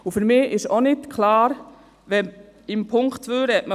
Im Punkt 2 spricht man von etwa 40 Mio. Franken.